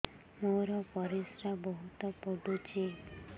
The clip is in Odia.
ମୋର ପରିସ୍ରା ବହୁତ ପୁଡୁଚି